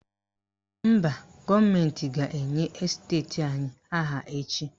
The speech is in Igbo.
Mba, gọọmentị ga-enye esteti anyị aha echi.